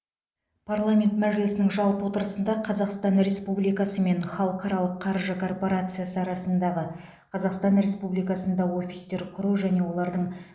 парламент мәжілісінің жалпы отырысында қазақстан республикасы мен халықаралық қаржы корпорациясы арасындағы қазақстан республикасында офистер құру және олардың